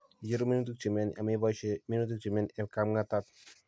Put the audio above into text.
icheru minutik che myani, ameboisye minutik che myani eng' kapng'atat